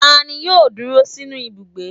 Ta ní yóò dúró sinú Ibúgbe?